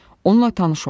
Onunla tanış olun.